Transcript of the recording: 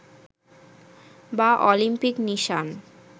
বা অলিম্পিক নিশান